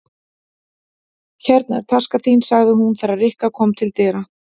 Hérna er taskan þín sagði hún þegar Rikka kom til dyra.